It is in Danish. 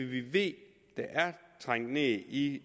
vi ved er trængt ned i